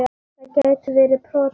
Það gætu verið prótín.